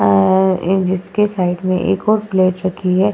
आ जिसके साइड में एक और प्लेट रखी है।